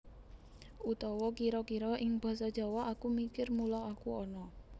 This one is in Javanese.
Utawa kira kira ing Basa Jawa Aku mikir mula aku ana